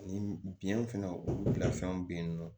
Ni biyɛn fɛnɛ bila fɛnw be yen nɔ